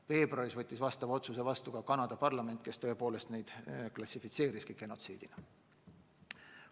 Veebruaris võttis sellesisulise otsuse vastu Kanada parlament, kes tõepoolest klassifitseeriski toimuvat genotsiidina.